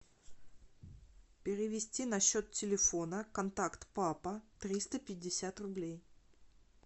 перевести на счет телефона контакт папа триста пятьдесят рублей